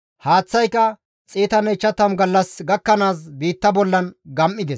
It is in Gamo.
Haaththayka 150 gallas gakkanaas biitta bollan gam7ides.